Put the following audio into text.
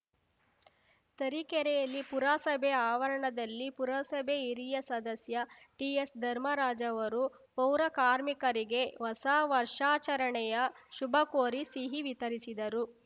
ತರೀಕೆರೆಯಲ್ಲಿ ಪುರಸಭೆ ಆವರಣದಲ್ಲಿ ಪುರಸಭೆ ಹಿರಿಯ ಸದಸ್ಯ ಟಿಎಸ್‌ ಧರ್ಮರಾಜ್‌ ಅವರು ಪೌರಕಾರ್ಮಿರಿಗೆ ಹೊಸ ವರ್ಷಾಚರಣೆಯ ಶುಭ ಕೋರಿ ಸಿಹಿ ವಿತರಿಸಿದರು